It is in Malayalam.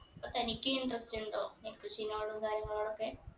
അപ്പൊ തനിക്ക് interest ഉണ്ടോ ഈ കൃഷിനോടും കാര്യങ്ങളൊടൊക്കെ